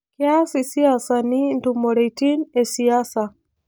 Keas isiasani intumoreitin esiasa